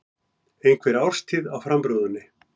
Einhver árstíð á framrúðunni.